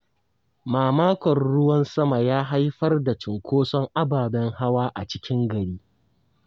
Mamakon ruwan sama ya haifar da cunkoson ababen hawa a cikin gari.